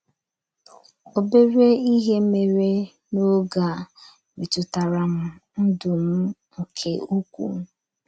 Obere ihe mere n’oge a metụtara m ndụ m nke ukwuu.